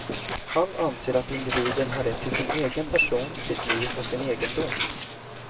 Han anser att individen har rätt till sin egen person, sitt eget liv och sin egendom.